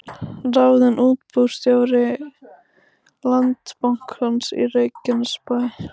Ráðinn útibússtjóri Landsbankans í Reykjanesbæ